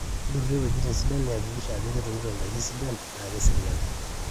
durie wuejitin sidai niyakikisha ajo ketumito indaiki sidan naa keserian